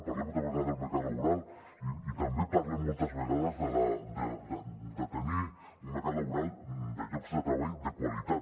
parlem moltes vegades del mercat laboral i també parlem moltes vegades de tenir un mercat laboral de llocs de treball de qualitat